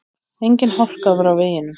Engin hálka var á veginum